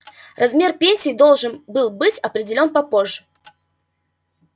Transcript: размер пенсии должен был быть определён попозже